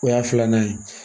O y'a filanan ye